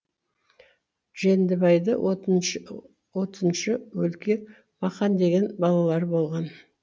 жүндібайды отыншы отыншы өлке мақан деген балалары болған